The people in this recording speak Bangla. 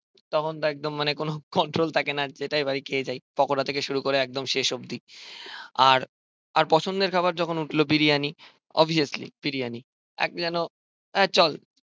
তখন তো একদম মানে কোনো কন্ট্রল থাকে না জেটাই পাই খেয়ে যাই পকড়া থেকে শুরু করে একদম শেষ অব্দি আর আর পছন্দের খাবার যখন উঠলো বিরিয়ানি অভিয়াসলি বিরিয়ানি এক যেন হ্যাঁ চল,